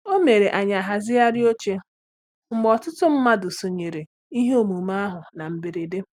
O mere anyị a hazigharị oche mgbe ọtụtụ mmadụ sonyeere ihe omume ahụ na mberede.